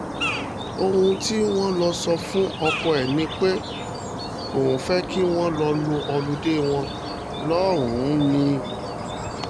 ohun tí wọ́n lọ sọ fún ọkọ ẹ̀ ni pé òun fẹ́ẹ́ kí wọ́n lọ lo olùde wọn lọ́hùn-ún ni